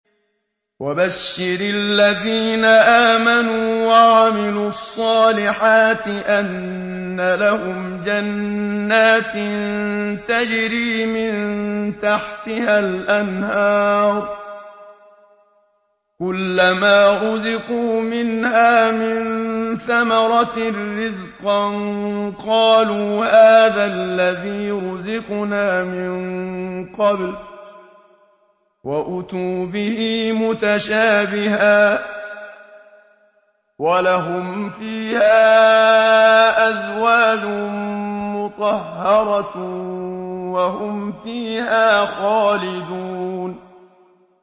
وَبَشِّرِ الَّذِينَ آمَنُوا وَعَمِلُوا الصَّالِحَاتِ أَنَّ لَهُمْ جَنَّاتٍ تَجْرِي مِن تَحْتِهَا الْأَنْهَارُ ۖ كُلَّمَا رُزِقُوا مِنْهَا مِن ثَمَرَةٍ رِّزْقًا ۙ قَالُوا هَٰذَا الَّذِي رُزِقْنَا مِن قَبْلُ ۖ وَأُتُوا بِهِ مُتَشَابِهًا ۖ وَلَهُمْ فِيهَا أَزْوَاجٌ مُّطَهَّرَةٌ ۖ وَهُمْ فِيهَا خَالِدُونَ